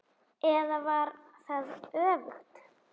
Það áraði ekki til annars.